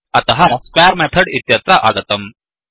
अतः square method इत्यत्र आगतम्